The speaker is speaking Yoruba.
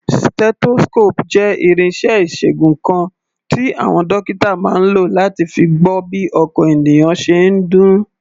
Stethoscope jẹ́ irinṣẹ́ ìṣègùn kan tí àwọn dókítà máa ń lò láti fi gbọ́ bí ọkàn ènìyàn ṣe ń dún.